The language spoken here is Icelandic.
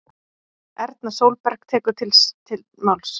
Erna Sólberg tekur til máls